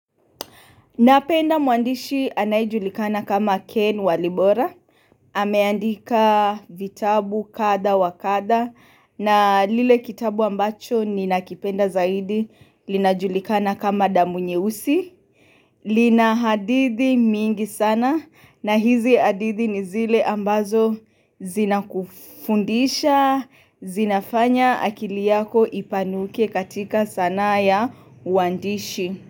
Napenda mwandishi anayejulikana kama Ken Walibora, ameandika vitabu kadha wa kadha na lile kitabu ambacho ninakipenda zaidi linajulikana kama damu nyeusi. Lina hadithi mingi sana na hizi hadithi ni zile ambazo zina kufundisha, zinafanya akili yako ipanuke katika sanaa ya uandishi.